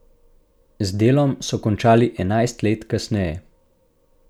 Z delom so končali enajst let kasneje.